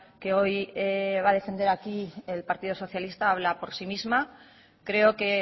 que hoy va a defender aquí el partido socialista habla por sí misma creo que